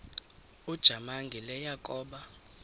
ujamangi le yakoba